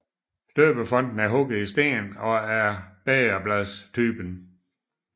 Døbefonten er hugget i sten og er af bægerbladstypen